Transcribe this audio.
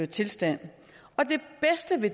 tilstand